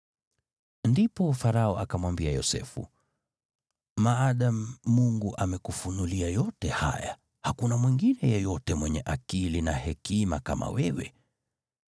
Ndipo Farao akamwambia Yosefu, “Maadamu Mungu amekufunulia yote haya, hakuna mwingine yeyote mwenye akili na hekima kama wewe.